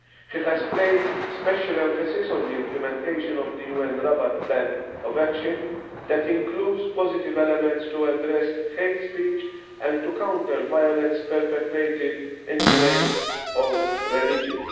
He has placed special emphasis on the implementation of the UN Rabat Plan of Action that includes positive elements to address hate speech and to counter violence perpetrated in the name of religion.